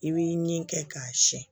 I b'i ni kɛ k'a siyɛn